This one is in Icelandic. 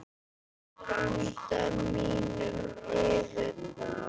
Blæs anda mínum yfir þá.